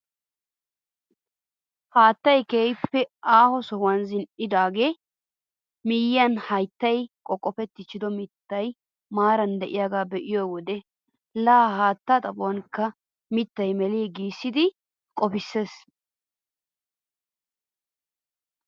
Haattay keehippe aaho sohuwaan zin"idoogaa miyiyaan hayttay qoqqofettiichido mittay maarara de'iyaaga be'iyoo wode la haattaa xaphonikka miittay melii giissidi qopisees!